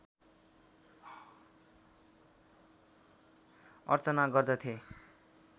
अर्चना गर्दथे